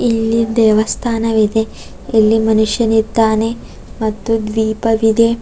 ಇಲ್ಲಿ ದೇವಸ್ಥಾನವಿದೆ ಇಲ್ಲಿ ಮನುಷ್ಯನಿದ್ದಾನೆ ಮತ್ತು ದ್ವೀಪವಿದೆ.